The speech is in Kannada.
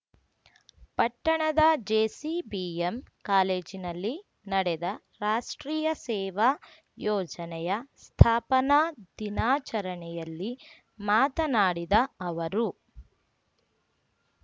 ಪಟ್ಟಣದ ಜೆಸಿಬಿಎಂ ಕಾಲೇಜಿನಲ್ಲಿ ನಡೆದ ರಾಷ್ಟ್ರೀಯ ಸೇವಾ ಯೋಜನೆಯ ಸ್ಥಾಪನಾ ದಿನಾಚರಣೆಯಲ್ಲಿ ಮಾತನಾಡಿದ ಅವರು